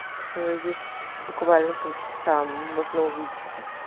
тут есть буквально полчаса можно увидеться